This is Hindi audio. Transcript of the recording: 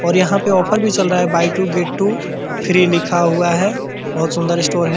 और यहाँ पर ऑफर भी चल रहा है buy two get two free लिखा हुआ है बहुत सुन्दर स्टोर है |